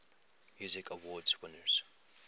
music awards winners